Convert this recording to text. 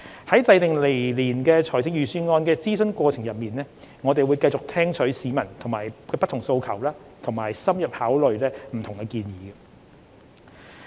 在制訂來年財政預算案的諮詢過程中，我們會繼續聽取市民的不同訴求和深入考慮不同建議。